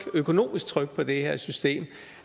økonomisk tryk på det her system